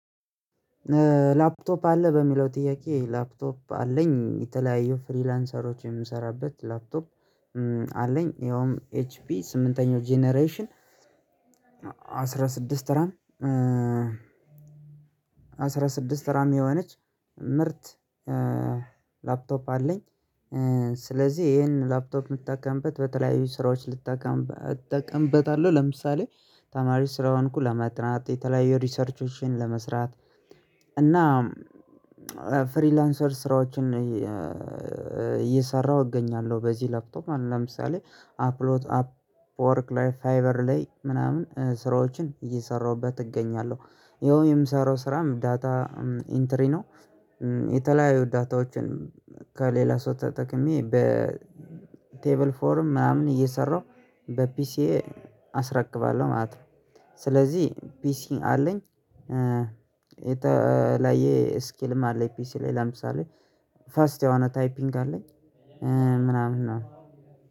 ላፕቶፕ አለህ በሚለው ጥያቄ ላፕቶፕ አለኝ የተለያዩ ፍሪላንሰሮች የምሰራበት ላፕቶፕ አለኝ ያውም ኤች ፒ ስምንተኛው ጄነሬሽን አስራ ስድስት ራም አስራ ስድስት ራም የሆነች ምርት አለኝ። ስለዚህ ይሄን ላፕቶፕ የምጠቀምበት በተለያዩ ስራዎች ልጠቀምበት እጠቀምበታለሁ ለምሳሌ ተማሪ ስለሆንኩ ለማጥናት የተለያዩ ሪሰርችዎችን ለመስራት ፍሪላንሰር ስራዎችን እየሰራሁ እገኛለሁ። በዚህ ለፕቶፕ ማለት ለምሳሌ አፕሎት አፕ ወርክ ላይ ፋይበር ላይ ምናምን ስራዎችን እየሰራሁበት እገኛለሁ። ይኸው የምሰራው ስራም ዳታ ኢንትሪ ነው። የተለያዩ ዳታዎችን ከሌላ ሰው ተጠቅሜ በቴብል ፎርም ምናምን እየሰራሁ በፒሲ አስረክባለሁ ማለት ነው። ስለዚህ ፒሲ አለኝ። የተለያየ ስኪልም አለኝ ፒሲ ላይ ለምሳሌ ፋስት የሆነ ታይፒንግ አለኝ። ምናምን ነው